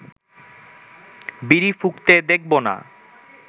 বিড়ি ফুঁকতে দেখব না